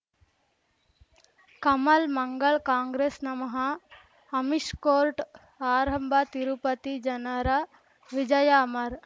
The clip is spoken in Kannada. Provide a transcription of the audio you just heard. ಕಮಲ್ ಮಂಗಳ್ ಕಾಂಗ್ರೆಸ್ ನಮಃ ಅಮಿಷ್ ಕೋರ್ಟ್ ಆರಂಭ ತಿರುಪತಿ ಜನರ ವಿಜಯ ಅಮರ್